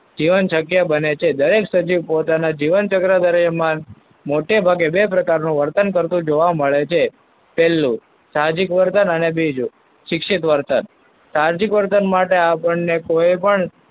જીવન શક્ય બને છે. દરેક સજીવ પોતાના જીવન ચક્ર દરમિયાન મોટેભાગે બે પ્રકારનું વર્તન કરતો જોવા મળે છે. પહેલું સાહજિક વર્તન અને બીજું શિક્ષિત વર્તન. સાહજિક વર્તન માટે આપણને કોઈપણ,